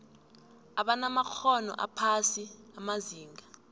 abanamakghono aphasi amazinga